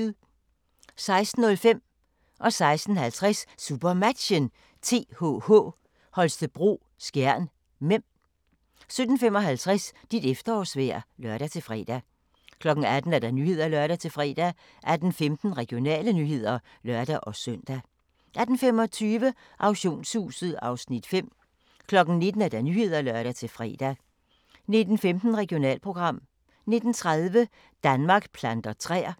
16:05: SuperMatchen: TTH Holstebro-Skjern (m) 16:50: SuperMatchen: TTH Holstebro-Skjern (m) 17:55: Dit efterårsvejr (lør-fre) 18:00: Nyhederne (lør-fre) 18:15: Regionale nyheder (lør-søn) 18:25: Auktionshuset (Afs. 5) 19:00: Nyhederne (lør-fre) 19:15: Regionalprogram 19:30: Danmark planter træer